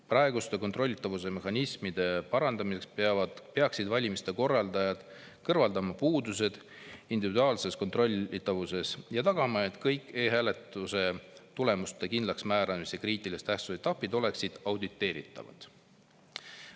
Praeguste kontrollitavuse mehhanismide parandamiseks peaksid valimiste korraldajad kõrvaldama puudused individuaalses kontrollitavuses ja tagama, et kõik e-hääletuse tulemuste kindlaksmääramise kriitilise tähtsusega etapid oleksid auditeeritavad.